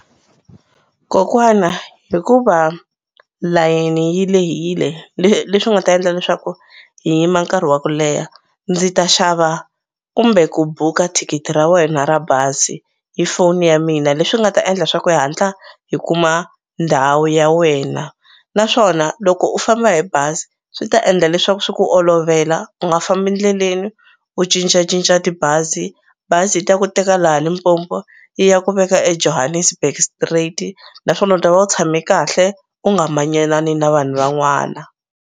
Kokwana hikuva layeni yi lehile leswi nga ta endla leswaku hi yima nkarhi wa ku leha ndzi ta xava kumbe ku buka thikithi ra wena ra bazi hi phone ya mina leswi nga ta endla swa ku hi hatla hi kuma ndhawu ya wena naswona loko u famba hi bazi swi ta endla leswaku swi ku olovela u nga fambi ndleleni u cincacinca tibazi bazi yi ta ku teka laha Limpopo yi ya ku veka eJohannesburg straight naswona u ta va u tshame kahle u nga manyanani na vanhu van'wana.